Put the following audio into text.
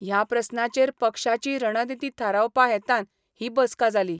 ह्या प्रस्नाचेर पक्षाची रणनीती थारावपा हेतान ही बसका जाली.